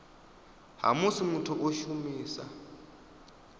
ha musi muthu o shumisa